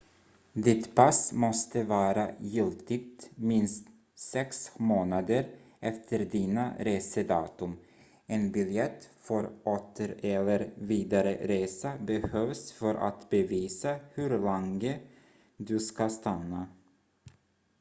ditt pass måste vara giltigt minst sex månader efter dina resedatum en biljett för åter- eller vidare resa behövs för att bevisa hur länge du ska stanna